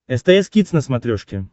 стс кидс на смотрешке